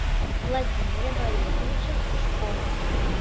владимире борисовиче сушкове